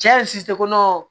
Cɛ kɔnɔ